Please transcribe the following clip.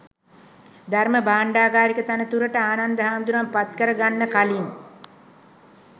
ධර්ම භාණ්ඩාගාරික තනතුරට ආනන්ද හාමුදුරුවන් පත් කර ගන්න කලින්